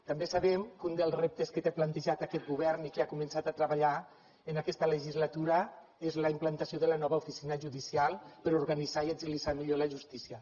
també sabem que un dels reptes que té plantejat aquest govern i que ha començat a treballar en aquesta legislatura és la implantació de la nova oficina judicial per a organitzar i agilitzar millor la justícia